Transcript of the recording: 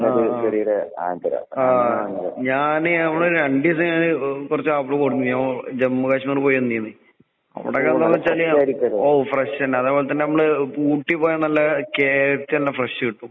ആഹ് ആഹ്. ആഹ് ഞാന് നമ്മള് രണ്ടീസം കഴിഞ്ഞ് ഏഹ് കൊറച്ചാപ്പിള് കൊണ്ടന്നിരുന്നു ജമ്മു കാശ്‌മീര് പോയ് വന്നീന്ന്. അവടൊക്കെന്താന്നെച്ചാല് ഓ ഫ്രഷന്നെ. അതേപോലെത്തന്നിമ്മള് ഇപ്പൂട്ടീപ്പോയാ നല്ല കേക്കന്നെ ഫ്രഷ് കിട്ടും.